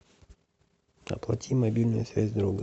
оплати мобильную связь друга